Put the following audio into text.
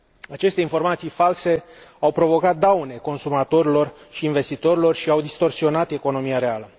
Aceste informații false au provocat daune consumatorilor și investitorilor și au distorsionat economia reală.